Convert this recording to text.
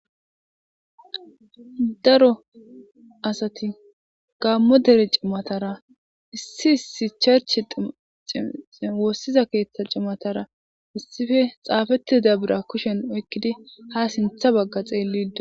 daro asati gaammo dere cimatara issi issi cherche(church) woossiza keeththa cimatara issippe xaafetida birra kushen oykkidi ha sintha bagga xeliido